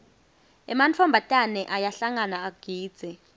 ematfombatane ayahlangana agidze